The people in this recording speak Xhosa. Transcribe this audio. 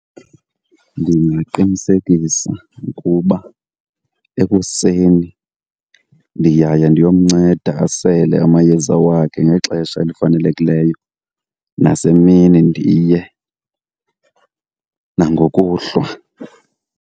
Ndingaqinisekisa ukuba ekuseni ndiyaya ndiyomnceda asele amayeza wakhe ngexesha elifanelekileyo, nasemini ndiye, nangokuhlwa.